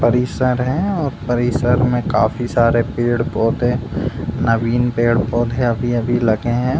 परिसर है और परिसर में काफी सारे पेड़-पौधे नवीन पेड़-पौधे अभी-अभी लगे हैं।